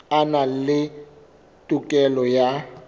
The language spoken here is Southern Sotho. a na le tokelo ya